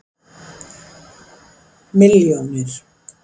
milljónir